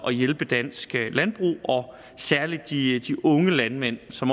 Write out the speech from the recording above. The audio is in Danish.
at hjælpe dansk landbrug og særlig de unge landmænd som